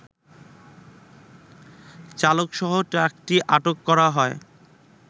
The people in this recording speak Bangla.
চালকসহ ট্রাকটি আটক করা হয়